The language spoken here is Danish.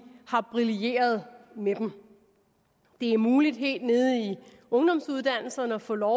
har brilleret med dem det er muligt helt nede i ungdomsuddannelserne at få lov